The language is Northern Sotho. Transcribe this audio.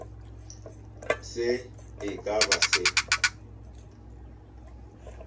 se e ka ba se